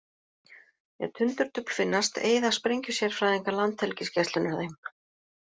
Ef tundurdufl finnast eyða sprengjusérfræðingar Landhelgisgæslunnar þeim.